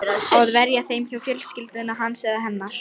Á að verja þeim hjá fjölskyldu hans eða hennar?